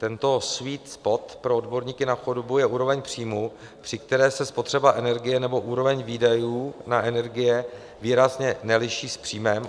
Tento sweet spot pro odborníky na chudobu je úroveň příjmů, při které se spotřeba energie nebo úroveň výdajů na energie výrazně neliší s příjmem.